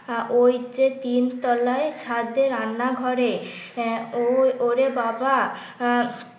ওই যে তিনতলায় ছাদে রান্নাঘরে আহ ও ওরে বাবা